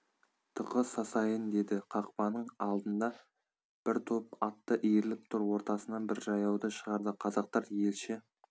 тықы сасайын деді қақпаның алдында бір топ атты иіріліп тұр ортасынан бір жаяуды шығарды қазақтар елші